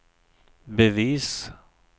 bevis